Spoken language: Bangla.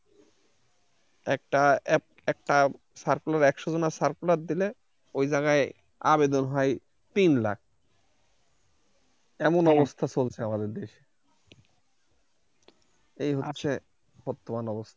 একটা Circular একশজনের Circular দিলে আবেদন ওই জায়গায় আবেদন হয় তিন লাখ এমন অবস্থা চলছে আমাদের দেশে এই হচ্ছে বর্তমান অবস্থা।